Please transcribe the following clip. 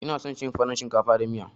Ina son cin farin shinkafa da miya.